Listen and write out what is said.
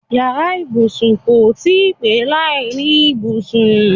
Yàrá ibùsùn kò tí í pé láìní ibùsùn.